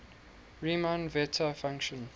riemann zeta function